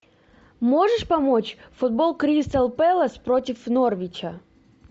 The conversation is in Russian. можешь помочь футбол кристал пэлас против норвича